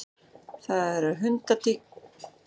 Það eru hundtíkur sem lóða og fara á lóðarí.